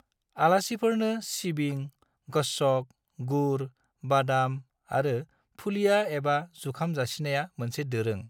आलासिफोरनो सिबिं, गच्छक, गुर, बादाम आरो फुलिया एबा जुखाम जासिनाया मोनसे दोरों।